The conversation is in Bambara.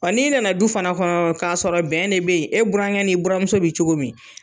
Wa n'i nana du fana kɔnɔ k'a sɔrɔ bɛn de be ye, e burankɛ n'i buramuso be cogo min